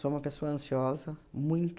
uma pessoa ansiosa, muito.